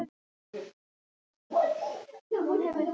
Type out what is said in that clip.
Nú varð ég að ganga frá Leifi.